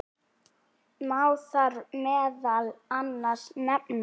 Má þar meðal annars nefna